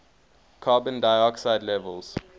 carbon dioxide levels